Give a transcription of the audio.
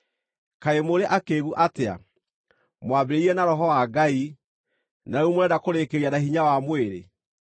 Kaĩ mũrĩ akĩĩgu atĩa? Mwambĩrĩirie na Roho wa Ngai, na rĩu mũrenda kũrĩkĩrĩria na hinya wa mwĩrĩ?